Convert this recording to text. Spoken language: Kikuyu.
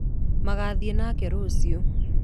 Magathiĩ nake rũciũ